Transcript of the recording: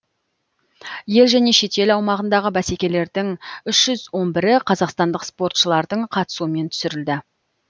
ел және шетел аумағындағы бәсекелердің үш жүз он бірі қазақстандық спортшылардың қатысуымен түсірілді